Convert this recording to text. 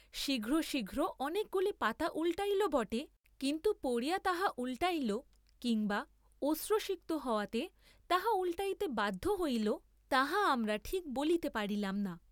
শীঘ্র শীঘ্র অনেকগুলি পাতা উল্‌টাইল বটে, কিন্তু পড়িয়া তাহা উল্‌টাইল কিম্বা অশ্রুসিক্ত হওয়াতে তাহা উল্‌টাইতে বাধ্য হইল, তাহা আমরা ঠিক বলিতে পারিলাম না।